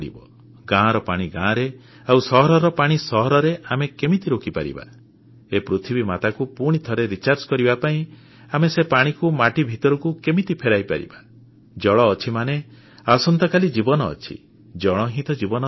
ଗାଁର ପାଣି ଗାଁରେ ଆଉ ସହରରେ ପାଣି ସହରରେ ଆମେ କେମିତି ରୋକିପାରିବା ଏ ପୃଥିବୀମାତାକୁ ପୁଣି ଥରେ ଶକ୍ତି ପ୍ରଦାନ ରିଚାର୍ଜ କରିବା ପାଇଁ ଆମେ ସେ ପାଣିକୁ ମାଟି ଭିତରକୁ କେମିତି ଫେରେଇ ପାରିବା ଜଳ ଅଛି ମାନେ ଆସନ୍ତାକାଲି ଜୀବନ ଅଛି ଜଳ ହିଁ ତ ଜୀବନର ଆଧାର